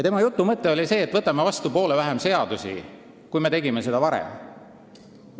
Tema kirjutise mõte oli see, et võiks võtta vastu poole vähem seadusi, kui me oleme seda varem teinud.